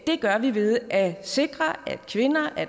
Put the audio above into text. det gør vi ved at sikre at kvinder